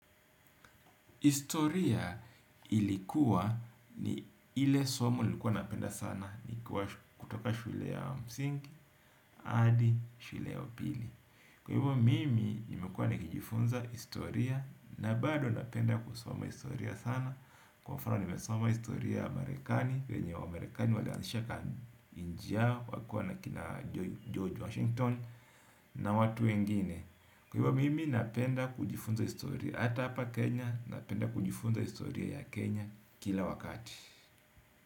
Historia ilikuwa ni ile somo nilikuwa napenda kutoka shule ya msingi hadi shule ya upili. Kwa hivyo mimi nimekua nikijifunza historia na bado napenda kusoma historia sana. Kwa mfano nimesoma historia ya marekani venye wamarekani walianzisha nchi yao wakiwa na kina George Washington na watu wengine. Kwa mimi napenda kujifunza historia ata hapa Kenya, napenda kujifunza historia ya Kenya kila wakati.